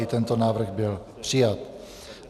I tento návrh byl přijat.